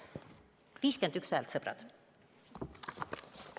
51 häält, sõbrad!